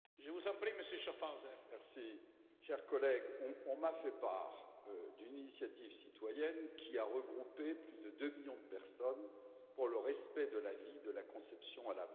Monsieur le Président, chers collègues, on m'a fait part d'une initiative citoyenne qui a regroupé plus de deux millions de personnes, pour le respect de la vie, de la conception à la mort.